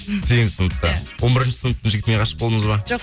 сегізінші сыныпта иә он бірінші сыныптың жігітіне ғашық болдыңыз ба жоқ